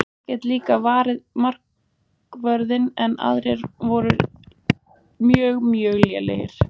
Ég get líka varið markvörðinn en aðrir voru mjög mjög lélegir.